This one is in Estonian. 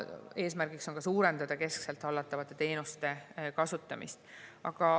Eesmärk on suurendada keskselt hallatavate teenuste kasutamist.